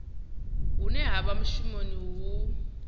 hune ha vha mushumoni hu